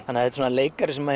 þannig að þetta er leikari sem